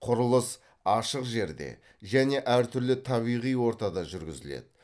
құрылыс ашық жерде және әр түрлі табиғи ортада жүргізіледі